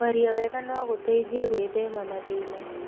Kwaria wega no gũteithie gwĩthema mathĩna.